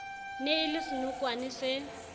ne e le senokwane se